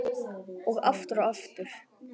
Og aftur og aftur.